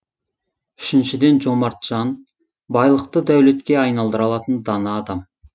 үшіншіден жомарт жан байлықты дәулетке айналдыра алатын дана адам